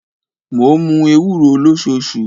Mo ń mu ewuro losoṣu.